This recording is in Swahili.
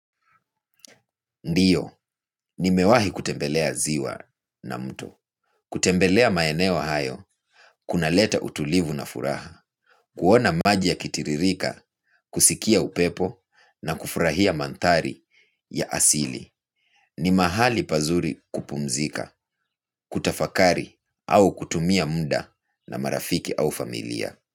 Ndiyo, nimewahi kutembelea ziwa na mtu. Kutembelea maeneo hayo, kunaleta utulivu na furaha kuona maji yakitiririka, kusikia upepo na kufurahia mandhari ya asili. Ni mahali pazuri kupumzika, kutafakari au kutumia muda na marafiki au familia.